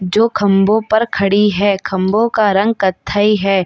जो खम्बों पर खड़ी है। खम्बों का रंग कत्थई है।